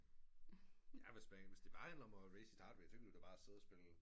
Ja hvis det bare handler om at raise sit heart rate så kan du jo bare sidde og spille